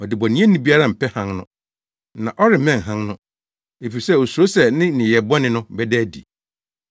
Ɔdebɔneyɛni biara mpɛ Hann no, na ɔremmɛn Hann no, efisɛ osuro sɛ ne nneyɛe bɔne no bɛda adi.